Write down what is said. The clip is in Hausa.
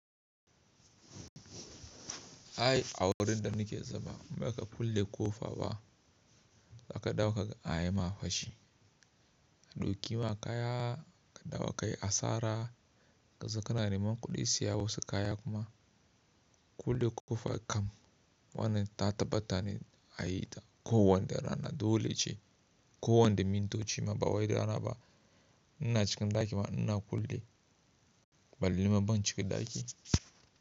Ai awurin da nake zama maka kulle ƙofa ba, zaka ɗawo ka ga ayi ma fashi. Ɗauki ma kaya ka ɗawo ka yi asara, kazo ka na neman kuɗi saya wasu kaya kuma. Kulle ƙofa kam wannan ta tabbata ne a yi ta kowanne rana dole ce kowanne mintoci ma ba wai rana ba. In na cikin ɗaki ma ina kulle balle ma ban cikin ɗaki.